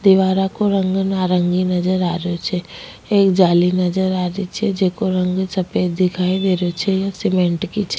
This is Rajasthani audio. दीवारा काे रंग नारंगी नजर आ रियो छे एक जाली नजर आ रही छे जेको रंग सफ़ेद दिखाई दे रहियो छे ये सीमेंट की छे।